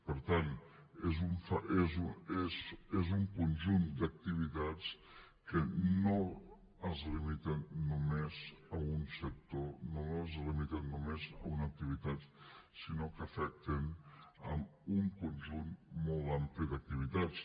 per tant és un conjunt d’activitats que no es limiten només a un sector no es limiten només a una activitat sinó que afecten un conjunt molt ampli d’activitats